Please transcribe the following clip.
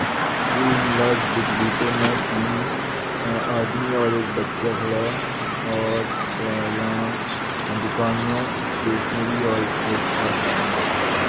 Shri Hinglaj book depot में तीन आदमी और एक बच्चा खड़ा है और क्या यहाँ दुकान में स्टेशनरी और स्पोर्ट्स का सामान रखा हुआ है।